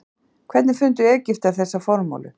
Hvernig fundu Egyptar þessa formúlu?